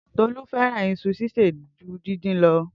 Tolu fẹràn iṣu sise ju dindin lọ